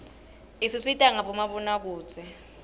isisita ngabo mabonakudze